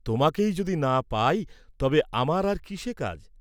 তোমাকেই যদি না পাই তবে আমার আর কিসে কাজ?